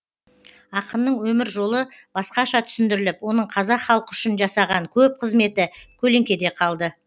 ақынның өмір жолы басқаша түсіндіріліп оның қазақ халқы үшін жасаған көп қызметі көлеңкеде қалды